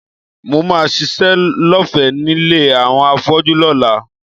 Mo máa ṣiṣẹ́ lọ́fẹ̀ẹ́ nílé àwọn afọ́jú lọ́la